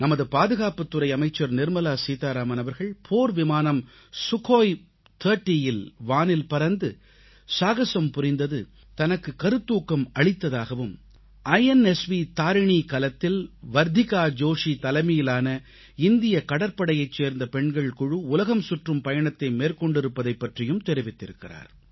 நமது பாதுகாப்புத் துறை அமைச்சர் நிர்மலா சீதாராமன் அவர்கள் போர்விமானம் சுகோய் 30இல் வானில் பறந்து சாகஸம் புரிந்தது தனக்கு கருத்தூக்கம் அளித்ததாகவும் இன்ஸ்வ் தரினி கலத்தில் வர்த்திகா ஜோஷீ தலைமையிலான இந்திய கடற்படையைச் சேர்ந்த பெண்கள் குழு உலகம் சுற்றும் பயணத்தை மேற்கொண்டிருப்பதைப் பற்றியும் தெரிவித்திருக்கிறார்